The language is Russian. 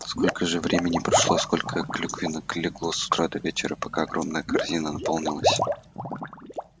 сколько же времени прошло сколько клюковинок легло с утра до вечера пока огромная корзина наполнилась